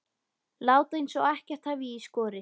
Láta eins og ekkert hafi í skorist.